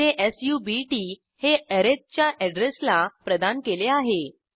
येथे सब्ट हे अरिथ च्या अॅड्रेसला प्रदान केले आहे